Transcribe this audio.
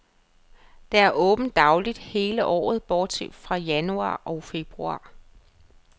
Der er åbent dagligt hele året, bortset fra januar og februar.